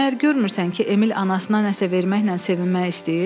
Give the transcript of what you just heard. Məyər görmürsən ki, Emil anasına nəsə verməklə sevinmək istəyir?